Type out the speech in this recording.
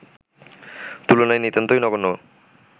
তুলনায় নিতান্তই নগণ্য